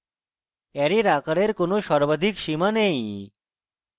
array এর আকারের কোন সর্বাধিক সীমা নেই